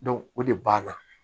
o de b'a la